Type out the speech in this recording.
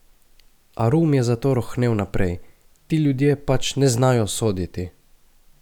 Arum je zato rohnel naprej: 'Ti ljudje pač ne znajo soditi.